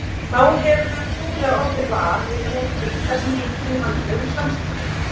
Þá hefurðu trúlega orðið var við þennan kulda sem ríkir í mannlegum samskiptum.